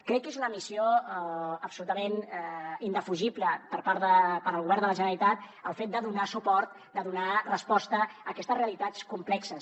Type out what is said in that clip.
crec que és una missió absolutament indefugible per al govern de la generalitat el fet de donar suport de donar resposta a aquestes realitats complexes